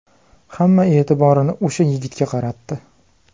Hamma e’tiborini o‘sha yigitga qaratdi.